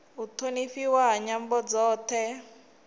u thonifhiwa ha nyambo dzothe